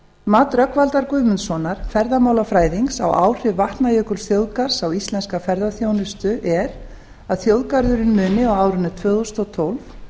mat rögnvaldar guðmundssonar ferðamálafræðings á áhrif vatnajökulsþjóðgarðs á íslenska ferðaþjónustu er að þjóðgarðurinn muni á árinu tvö þúsund og tólf